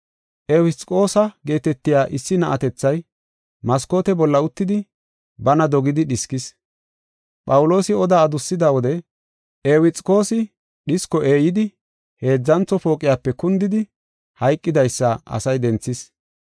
Ewuxikoosa geetetiya issi na7atethay maskoote bolla uttidi, baana dogidi dhiskis. Phawuloosi oda adussida wode Ewuxikoosi dhisko eeyidi heedzantho pooqiyape kundidi hayqidaysa asay denthis.